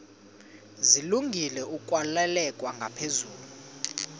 zilungele ukwalekwa ngaphezulu